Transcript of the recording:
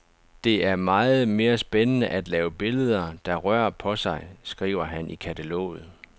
Det er meget mere spændende at lave billeder, der rører på sig, skriver han i kataloget.